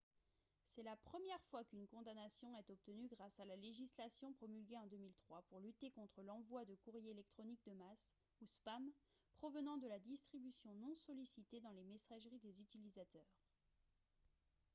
c'est la première fois qu'une condamnation est obtenue grâce à la législation promulguée en 2003 pour lutter contre l'envoi de courriers électroniques de masse ou spam provenant de la distribution non sollicitée dans les messageries des utilisateurs